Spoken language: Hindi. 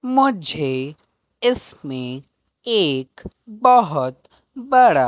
मुझे इसमें केक बहुत बड़ा--